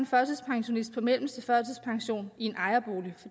førtidspensionist på mellemste førtidspension i en ejerbolig